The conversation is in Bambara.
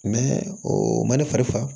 o ma ne fari faga